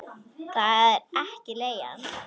Það er ekki leigan.